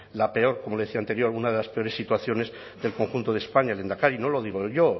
la peor como le decía antes una de las peores situaciones del conjunto de españa lehendakari no lo digo yo